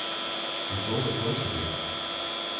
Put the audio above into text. Ég fór á klósettið.